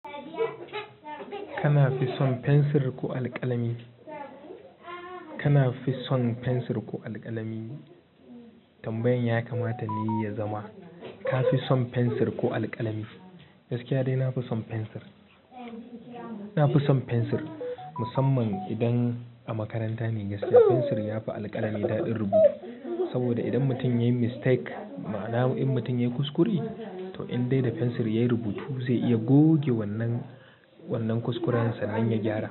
Kana fi son fensir ko alƙalami? Kana fi son fensir ko alƙalami? Tambayan ya kamata ni ya zama. Ka fi son fensir ko alƙalami? Gaskiya dai na fi son fensir. Na fi son fensir musamman idan a makaranta ne, gaskiya fensir ya fi alƙalami daɗin rubutu. Saboda idan mutum yayi mistake, ma'ana in mutum yayi kuskure, to in dai da fensir yayi rubutu zai iya goge wannan, wannan kuskurensa nan ya gyara.